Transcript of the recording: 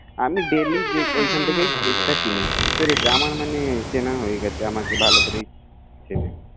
আমি ডেইলি ওখান থেকিই কেক টা কিনিআমার মানে চেনা হয়ে গেছেআমাকে ভালো করেই চেনে